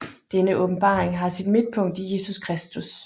Denne åbenbaring har sit midtpunkt i Jesus Kristus